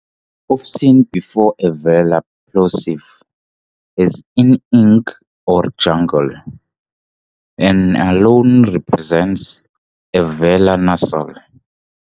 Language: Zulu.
Often, before a velar plosive, as in "ink" or "jungle", ⟨n⟩ alone represents a velar nasal.